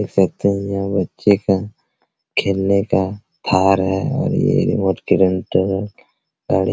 देख सकते है यहाँ बच्चे का खेलने का थार है और ये रिमोट के कंट्रोल और ये --